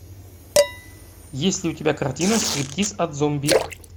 есть ли у тебя картина стриптиз от зомби